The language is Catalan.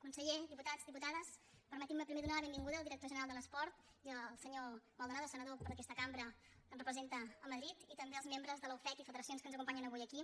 conseller diputats diputades permetin·me primer donar la benvinguda al director general de l’esport i al senyor maldonado senador per aquesta cambra que ens representa a madrid i també als membres de la ufec i federacions que ens acompanyen avui aquí